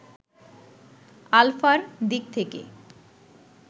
আলফা’র দিক থেকে